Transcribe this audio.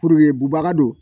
Puruke bubaga don